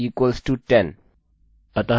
नामname अभी भी एलेक्सalex है